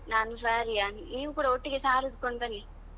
ನಾನು saree ಯಾ ನೀವು ಕೂಡ ಒಟ್ಟಿಗೆ saree ಉಡ್ಕೊಂಡು ಬನ್ನಿ.